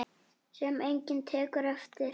Sem enginn tekur eftir.